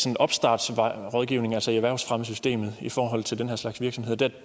en opstartsrådgivning altså i erhvervsfremmesystemet i forhold til den her slags virksomhed der